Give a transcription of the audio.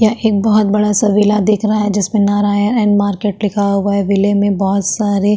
यह एक बहौत बड़ा सा विला दिख रहा है जिसमे नारायण एन मार्केट लिखा हुआ है वीले में बहौत सारे --